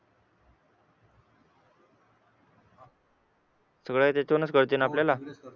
सगळ तिथूनच कळतं आपल्याला